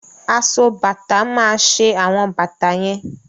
Aso bàtà máa ṣe àwọn bàtà yẹn.